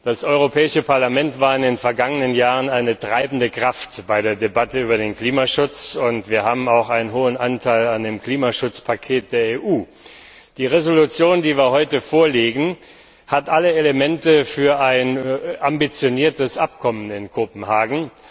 Das Europäische Parlament war in den vergangenen Jahren eine treibende Kraft bei der Debatte über den Klimaschutz, und wir haben auch einen hohen Anteil an dem Klimaschutzpaket der EU. Die Entschließung, die wir heute vorlegen, hat alle Elemente für ein ambitioniertes Abkommen in Kopenhagen.